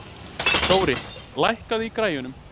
Dóri, lækkaðu í græjunum.